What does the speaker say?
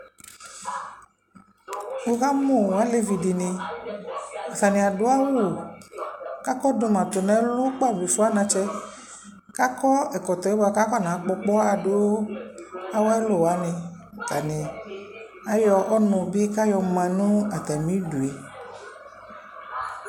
Wʋ kamʋ alevi dɩnɩ atanɩ adʋ awʋ k'akɔdʋma tʋ n'ɛlʋ kpata be fue anatsɛ, k'akɔ ɛkɔtɔ yɛ bua k'akɔnakpɔ ɔkpɔɣa dʋ awʋ ɛlʋ wanɩ Atanɩ ayɔ ɔnʋ bɩ k'ayɔ ma nʋ atamidu yɛ